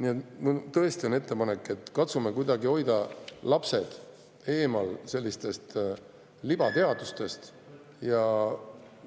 Nii et mul on ettepanek, et katsume hoida lapsed eemal sellisest libateadusest ja